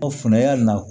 Ɔ funtena ya